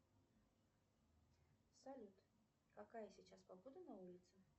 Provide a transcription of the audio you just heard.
салют какая сейчас погода на улице